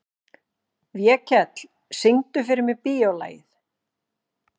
Vékell, syngdu fyrir mig „Bíólagið“.